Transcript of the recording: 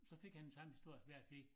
Så fik han den samme historie som jeg fik